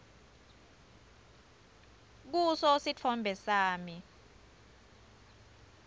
kuso sitfombe sami